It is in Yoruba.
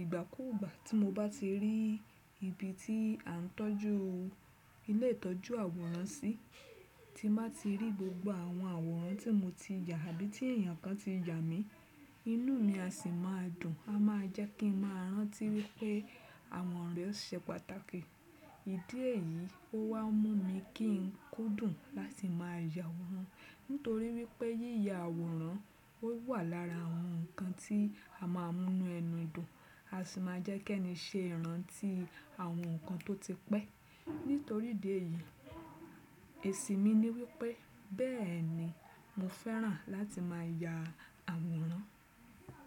ìgbàkugbá, tí mo bá ti rí ibi tí a ń tọ́jú, ilé ìtọ́jú àwòrán sí, tí màá ti rí gbogbo àwọn àwòrán tí mo ti yà àbí tí èèyàn kan ti yà mi, inú mi a sì máa dùn. A máa jẹ́ kí n máa rántí wípé àwọn ọ̀rẹ́ se pàtàkì. Ìdí èyí ó wá ń mú mi kí n kúndùn láti má ya àwòrán, nítorí wípé yíya àwòrán ó wà lára àwọn nǹkan tí a máa ń mú inú ẹnu dùn. A sì máa jẹ́ kí ẹni ṣe ìrántí àwọn nǹkan tó ti pẹ́. Nítorí ìdí èyí, èsì mi ni wípé bẹ́ẹ̀ni, mo fẹ́ràn láti má ya àwòrán.